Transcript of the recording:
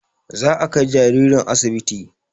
Za a kai jaririn asibiti